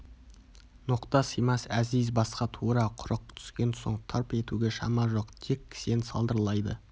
ноқта сыймас әзиз басқа тура құрық түскен соң тырп етуге шама жоқ тек кісен сылдырлайды